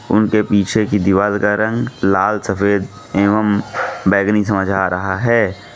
उनके पीछे की दीवाल का रंग लाल सफेद एवंम बैंगनी समझ आ रहा है।